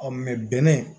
bɛnɛ